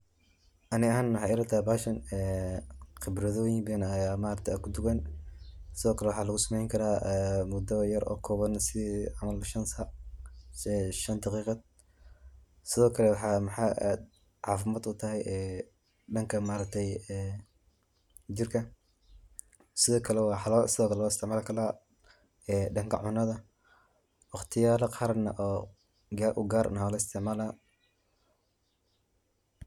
Ani ahan waxay ilatahay bahashan qibradoyin badan ayu kudugan, sidokale waxa lugusameyni mido kooban oo shan daqiqad camal, sidokale waxay cafimad utahay jirka, waxa kalo loisticmali kara danka cunada waqtiya gaar ah walaisticmala.